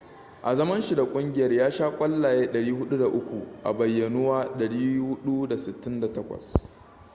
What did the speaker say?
a zaman shi da kungiyar ya sha kwallaye 403 a bayyanuwa 468